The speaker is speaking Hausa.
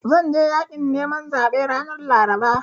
Zan je yaƙin neman zaɓe ranar Laraba.